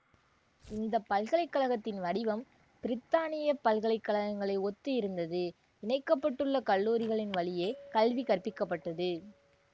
இந்த பல்கலை கழகத்தின் வடிவம் பிரித்தானிய பல்கலைக்கழகங்களை ஒத்து இருந்தது இணைக்க பட்டுள்ள கல்லூரிகளின் வழியே கல்வி கற்பிக்கப்பட்டது